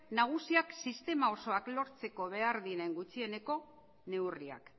nagusiak sistema osoak lortzeko behar diren gutxieneko neurriak